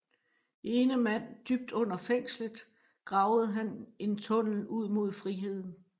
Ene mand dybt under fængslet gravede han en tunnel ud mod friheden